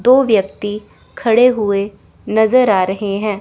दो व्यक्ति खड़े हुए नजर आ रहे हैं।